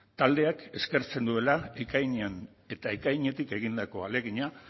taldeak eskertzen duela ekainean eta ekainetik egindako ahalegina